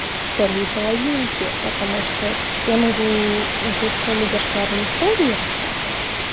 вторые половинки потому что я могу начать кроме зашкварные истории рассказ